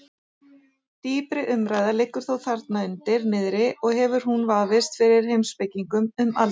Dýpri umræða liggur þó þarna undir niðri og hefur hún vafist fyrir heimspekingum um aldir.